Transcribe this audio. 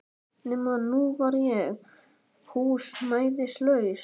Nema að nú var ég húsnæðislaus.